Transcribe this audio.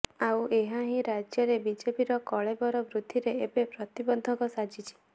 ଆଉ ଏହା ହିଁ ରାଜ୍ୟରେ ବିଜେପିର କଳେବର ବୃଦ୍ଧିରେ ଏବେ ପ୍ରତିବନ୍ଧକ ସାଜିଛି